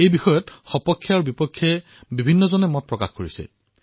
এই বিষয়ত পক্ষ আৰু বিপক্ষ দুয়োটা ফালৰ লোকে নিজৰ মতামত প্ৰদান কৰিছে